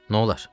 Nə olar?